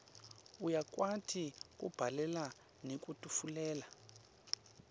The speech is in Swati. uyakwati kubhalela nekwetfulela